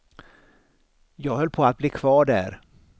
Jag höll på att bli kvar där.